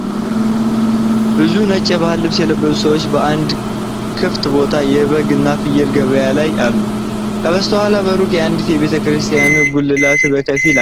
ብዙ ነጭ የባህል ልብስ የለበሱ ሰዎች በአንድ ክፍት ቦታ የበግና ፍየል ገበያ ላይ አሉ። ከበስተኋላ በሩቅ የአንዲት ቤተ ክርስቲያን ጉልላት በከፊል አለ።